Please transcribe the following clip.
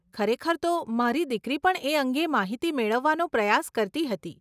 ખરેખર તો, મારી દીકરી પણ એ અંગે માહિતી મેળવવાનો પ્રયાસ કરતી હતી.